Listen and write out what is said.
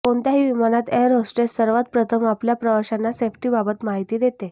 कोणत्याही विमानात air hostess सर्वात प्रथम आपल्या प्रवाशांना सेफ्टीबाबत माहिती देते